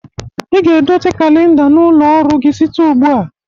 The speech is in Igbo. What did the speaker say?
Ị ga-edote kalinda n'ụlọ ọrụ gi site ugbu a.